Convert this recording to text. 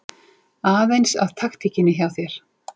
Aðeins að taktíkinni hjá þér.